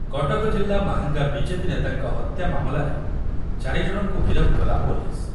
କଟକ ଜିଲ୍ଲା ମାହାଙ୍ଗା ବିଜେପି ନେତାଙ୍କ ହତ୍ୟା ମାମଲାରେ ଚାରି ଜଣଙ୍କୁ ଗିରଫ କଲା ପୋଲିସ ।